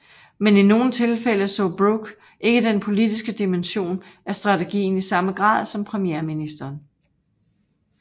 Men i nogle tilfælde så Brooke ikke den politiske dimension af strategien i samme grad som premierministeren